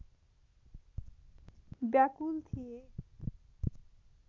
व्याकुल थिए